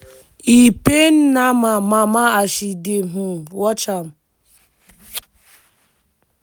e pain naama mama as she dey um watch am.